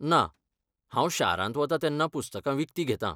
ना, हांव शारांत वतां तेन्ना पुस्तकां विकतीं घेतां.